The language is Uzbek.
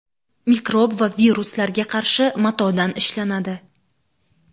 mikrob va viruslarga qarshi matodan ishlanadi.